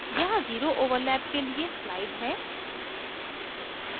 यहाँ zero overlap के लिए slide है